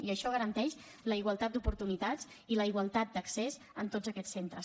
i això garanteix la igualtat d’oportunitats i la igualtat d’accés a tots aquests centres